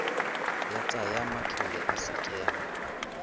ya tsa matlole ya sekema